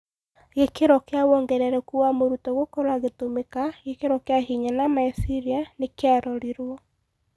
Gĩkĩro kĩa wongerereku wa mũrutwo gũkorwo agĩtũmĩka (gĩkĩro kĩa hinya na meciria) nĩkĩarorirwo.